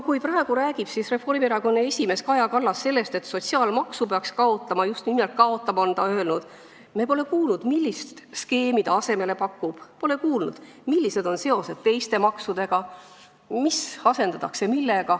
Kui praegu räägib Reformierakonna esimees Kaja Kallas sellest, et sotsiaalmaksu peaks kaotama – just nimelt "kaotama" on ta öelnud –, siis me pole kuulnud, millist skeemi ta asemele pakub, pole kuulnud, millised on seosed teiste maksudega, mis asendatakse millega.